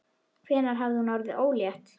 Hvenær hafði hún orðið ólétt?